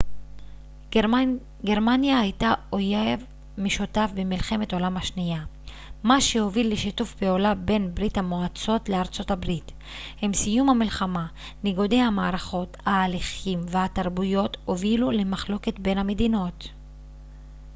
גרמניה הייתה אויב משותף במלחמת העולם השנייה מה שהוביל לשיתוף פעולה בין ברית המועצות לארה ב עם סיום המלחמה ניגודי המערכות ההליכים והתרבויות הובילו למחלוקת בין המדינות